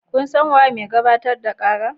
Kun san waye mai gabatar da kara?